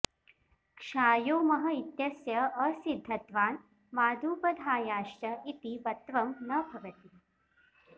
क्षायो मः इत्यस्य असिद्धत्वान् मादुपधायाश्च इति वत्वं न भवति